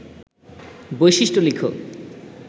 বৈশিষ্ট্য লিখ